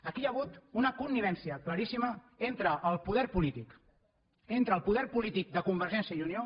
aquí hi ha hagut una connivència claríssima entre el poder polític entre el poder polític de convergència i unió